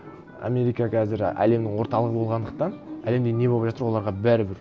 америка қазір әлемнің орталығы болғандықтан әлемде не болып жатыр оларға бәрібір